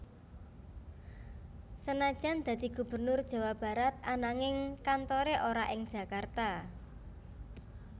Senajan dadi Gubernur Jawa Barat ananging kantore ora ing Jakarta